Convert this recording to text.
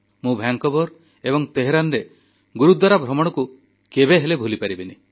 ମୁଁ ଭାଙ୍କୋଭର୍ ଏବଂ ତେହେରାନରେ ଗୁରୁଦ୍ୱାରା ଭ୍ରମଣକୁ କେବେହେଲେ ଭୁଲିପାରିବିନି